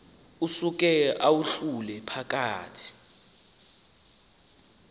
usuke uwahlule phakathi